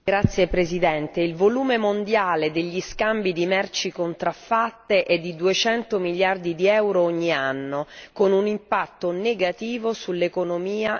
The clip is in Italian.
Il volume mondiale degli scambi di merci contraffatte è di 200 miliardi di euro ogni anno, con un impatto negativo sull'economia e non solo.